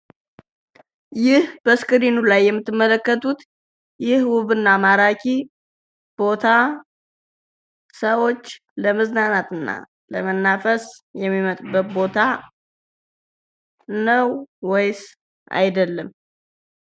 ይህ በምስሉ ላይ የምትመለከቱት ውብና ማራኪ ቦታ ሰዎች ለመዝናናት እና ለመናፈስ የሚመጡበት ቦታ ነው? ወይስ አይደለም ?